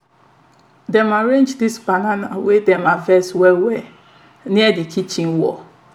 dem arrange di bananas wey dem harvest well well near di kitchen wall